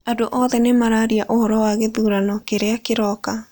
Andũ othe nĩ mararia ũhoro wa gĩthurano kĩrĩa kĩroka.